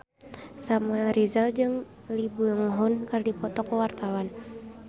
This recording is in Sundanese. Samuel Rizal jeung Lee Byung Hun keur dipoto ku wartawan